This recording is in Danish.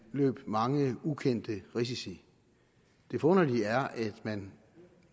løbe mange ukendte risici det forunderlige er at man